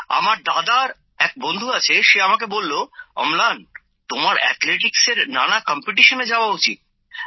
আমার দাদার এক বন্ধু আছে সে আমাকে বলল অম্লান তোমার অ্যাথলেটিক্সের নানা প্রতিযোগিতায় যাওয়া উচিত